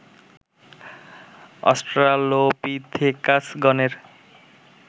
Australopithecus গণের